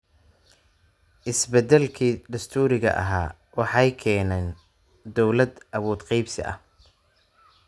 Isbeddelkii dastuuriga ahaa waxa ay keeneen dawlad awood qaybsi ah.